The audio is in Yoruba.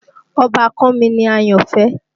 Ọbàkan mi ni Àyọ̀fẹ́